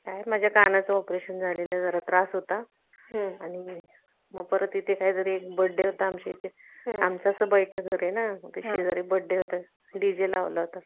काय आहे माझ्या कानाचा Operation झालं होतं जरा त्रास होता मग इथे परत काहीतरी आमच्याकडे एक Birth Day होता आमचं असं बैठ घर आहे ना शेजारी Birth Day होता DJ लावला होता